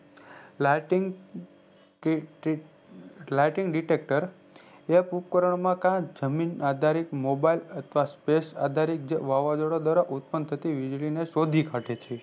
lightning ટીક ટીક lightning detector જે ઉપકારનો માં જમીન આઘારિત mobile અથવા space આઘારિત વાવાજોડા દ્રારા ઉદ્પન થતી વીજળી સોઘીકાઢે છે